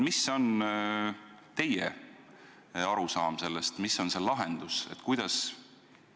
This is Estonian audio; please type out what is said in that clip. Milline on teie arusaam sellest, missugune võiks olla lahendus?